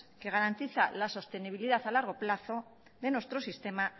que garantiza la sostenibilidad a largo plazo de nuestro sistema